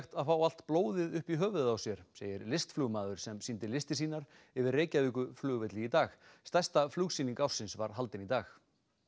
að fá allt blóðið upp í höfuðið á sér segir listflugmaður sem sýndi listir sínar yfir Reykjavíkurflugvelli í dag stærsta flugsýning ársins var haldin í dag